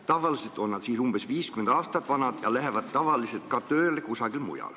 Tavaliselt on nad siis umbes 50 aastat vanad ja lähevad kusagile mujale tööle.